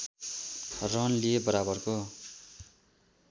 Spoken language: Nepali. रन लिए बराबरको